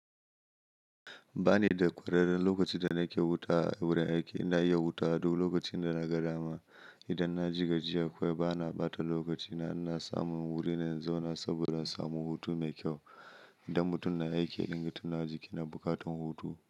Ba ni da ƙwararren lokacin da nake wuta a wurin aiki, ina iya wuta duk lokacin da na ga dama. Idan na ji gajiya, kawai bana ɓata lokaci na, ina samun wuri na in zauna saboda samu hutu mai kyau. Idan mutum na aiki idan ya tuna jiki na buƙatar hutu.